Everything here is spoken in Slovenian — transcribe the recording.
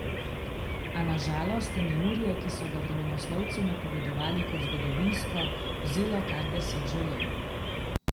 A na žalost je neurje, ki so ga vremenoslovci napovedovali kot zgodovinsko, vzelo kar deset življenj.